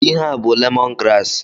Ihe a bụ lemọn graasị.